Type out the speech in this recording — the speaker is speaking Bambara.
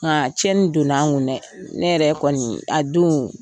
Ŋaa tiɲɛni donn'an ŋun dɛ, ne yɛrɛ kɔnii, a doon